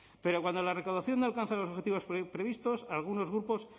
pero cuando la recaudación no alcanza los objetivos previstos algunos grupos